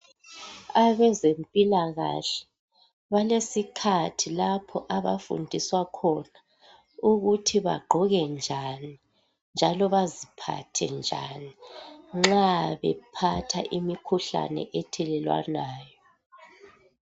Abezempilakahle balesikhathi lapho abafundiswa khona ukuthi bagqoke njani njalo baziphathe njani nxa bephatha imikhuhlane ethelelwanayo.